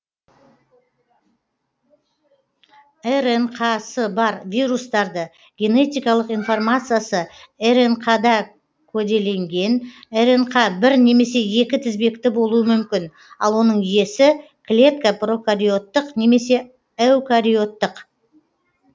рнқ сы бар вирустарды генетикалық информациясы рнқ да коделенген рнқ бір немесе екі тізбекті болуы мүмкін ал оның иесі клетка прокариоттық немесе эукариоттық